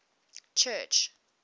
church